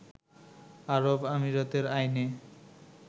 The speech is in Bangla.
আরব আমিরাতের আইনে